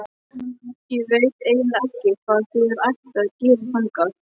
Ég veit eiginlega ekki hvað þér ættuð að gera þangað.